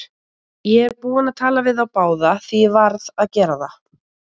Ég er búinn að tala við þá báða, því ég varð að gera það.